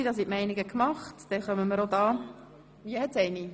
– Dies scheint nicht der Fall zu sein. –